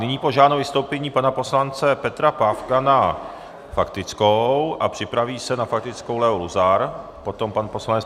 Nyní požádám o vystoupení pana poslance Petra Pávka na faktickou a připraví se na faktickou Leo Luzar, potom pan poslanec.